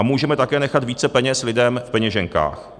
A můžeme také nechat více peněz lidem v peněženkách.